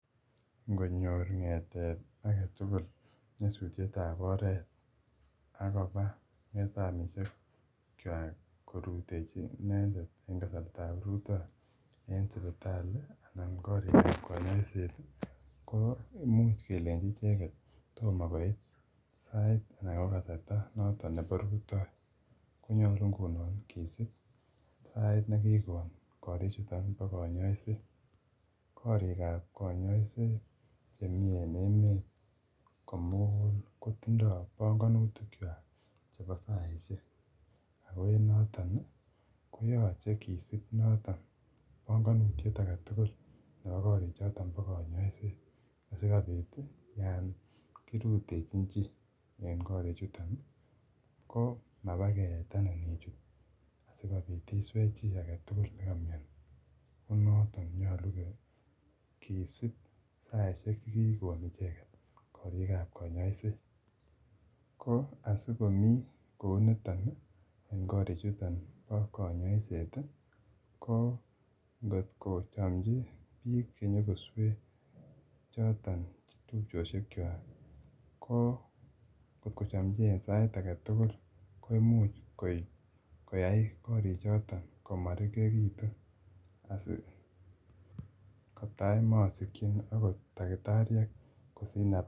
Ngonyor ng'etet agetugul nyosutietab oret akobaa ng'etamisekchwak korutochi inendet en kasartab rutoi en sipital an korikab konyoiset koo imuch kelenji icheket tomo koit sai ana ko kasarta noton nebo rutoi konyolu ngunon kisip sait nekikon korik chuton bo kanyoiset. korikab kanyoiset chemii en emet komugul kotindoo bongonutikchwak chebo saisiek ako en noton koyoche kisip noton bongonutiet agetugul nebo korichoton bo kanyoiset asikobit yon kirutechin chii en korichuton ii koo mabakeetenen ichut asikobit iswee chii agetugul nekomiani konoton nyolu kisip saisiek chekikon icheket korikab kanyoiset ,koo asikomii kou niton ii en korichuton bo kanyoiset ii koo ngot kechamchi biik chenyo koswee choton tupchosiekwak koo ng'ot kochamchi en sait agetugul koimuch koyai korichoton komarikekitu asikotai mosikyin akot daktariek kosich nafas.